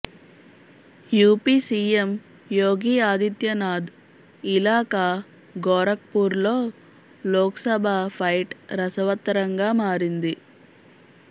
UP CM Yogi Adityanath ఇలాఖా గోరఖ్పూర్లో Lok Sabha fight రసవత్తరంగా మారింది